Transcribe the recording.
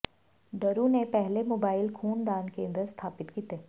ਡਰੂ ਨੇ ਪਹਿਲੇ ਮੋਬਾਇਲ ਖੂਨ ਦਾਨ ਕੇਂਦਰ ਸਥਾਪਿਤ ਕੀਤੇ